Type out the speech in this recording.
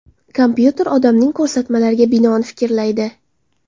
Kompyuter odamning ko‘rsatmalariga binoan fikrlaydi.